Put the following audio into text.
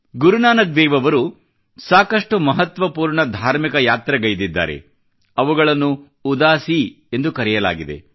ಗುರುನಾನಕ್ ದೇವ್ ಅವರು ಸಾಕಷ್ಟು ಮಹತ್ವಪೂರ್ಣ ಧಾರ್ಮಿಕ ಯಾತ್ರೆಗೈದಿದ್ದಾರೆ ಅವುಗಳನ್ನು ಉದಾಸೀ ಎಂದು ಕರೆಯಲಾಗಿದೆ